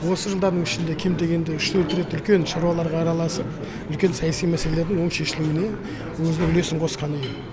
осы жылдардің ішінде кем дегенде үш төрт рет үлкен шараларға араласып үлкен саяси мәселелердің оң шешілуіне өзінің үлесін қосқан екен